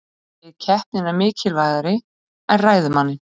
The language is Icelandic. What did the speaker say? Segir keppnina mikilvægari en ræðumanninn